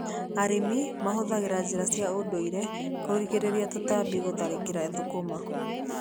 Arĩmi mahũthagĩra njĩra cia ndũire kũrigĩrĩria tũtambi gũtharĩkĩra thũkũma.